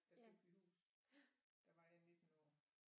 Der købte vi hus der var jeg 19 år